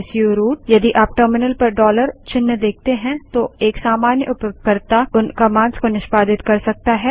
यदि आप टर्मिनल पर डॉलर चिन्ह देखते हैं तो एक सामान्य उपयोगकर्ता उन कमांड्स को निष्पादित कर सकता है